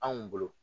Anw bolo